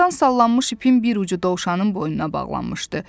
Budaqdan sallanmış ipin bir ucu dovşanın boynuna bağlanmışdı.